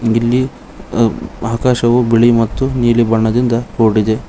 ಇಲ್ಲಿ ಅ ಆಕಾಶವು ಬಿಳಿ ಮತ್ತು ನೀಲಿ ಬಣ್ಣದಿಂದ ಕೂಡಿದೆ.